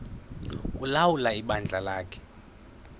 ulawula ibandla lakhe